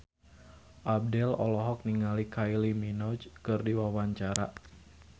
Abdel olohok ningali Kylie Minogue keur diwawancara